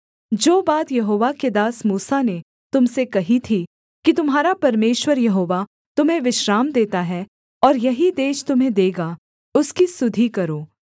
जो बात यहोवा के दास मूसा ने तुम से कही थी कि तुम्हारा परमेश्वर यहोवा तुम्हें विश्राम देता है और यही देश तुम्हें देगा उसकी सुधि करो